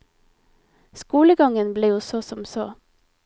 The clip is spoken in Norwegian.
Skolegangen ble jo så som så.